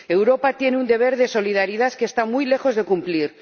Europa tiene un deber de solidaridad que está muy lejos de cumplir.